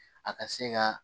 A ka se ka